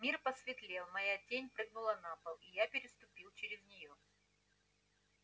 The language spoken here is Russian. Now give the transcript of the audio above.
мир посветлел моя тень прыгнула на пол и я переступил через неё